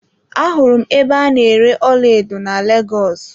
Ahụrụ m ebe a na-ere ọlaedo na Lagos.